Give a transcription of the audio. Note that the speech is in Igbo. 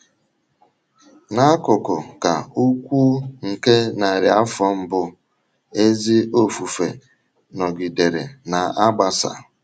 N’akụkụ ka ukwuu nke narị afọ mbụ, ezi ofufe nọgidere na - agbasa.